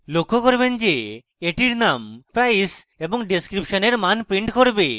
আপনি লক্ষ্য করবেন যে এটির name price এবং ডেসক্রিপশনের মান print করবে